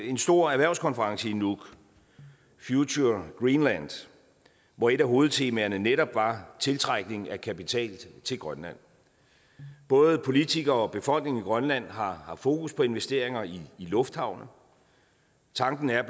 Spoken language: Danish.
en stor erhvervskonference i nuuk future greenland hvor et af hovedtemaerne netop var tiltrækning af kapital til grønland både politikere og befolkningen i grønland har fokus på investeringer i lufthavne tanken er